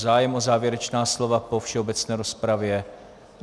Zájem o závěrečná slova po všeobecné rozpravě.